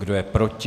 Kdo je proti?